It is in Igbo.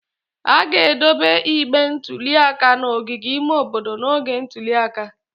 A ga-edobe igbe ntụli aka n'ogige ime obodo n'oge ntuli aka.